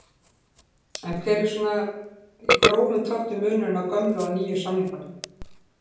En hver er svona í grófum dráttum munurinn á gömlu og nýju samningunum?